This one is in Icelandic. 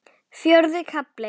Fjórði kafli